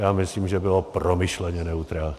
Já myslím, že bylo promyšleně neutrální.